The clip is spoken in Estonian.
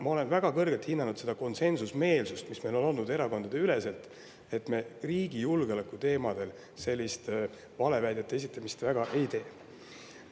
Ma olen väga kõrgelt hinnanud seda konsensusmeelsust, mis meil on olnud erakondadeülene, mistõttu meil riigi julgeoleku teemadel valeväidete esitamist väga.